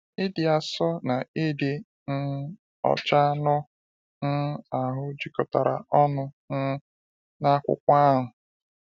Ịdị asọ na ịdị um ọcha anụ um ahụ jikọtara ọnu um n’akwụkwọ ahụ.